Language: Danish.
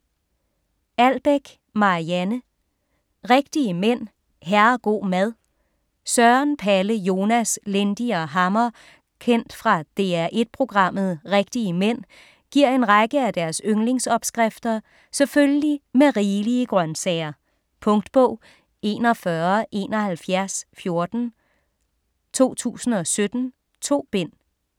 Albeck, Marianne: Rigtige mænd - herrego' mad Søren, Palle, Jonas, Lindy og Hammer kendt fra DR1 programmet "Rigtige mænd" giver en række af deres yndlingsopskrifter selvfølgelig med rigelige grønsager. Punktbog 417114 2017. 2 bind.